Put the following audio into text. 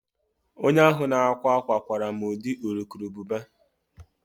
Onye ahụ na-akwa akwa kwara m ụdị urukurubụba